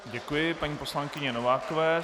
Děkuji paní poslankyni Novákové.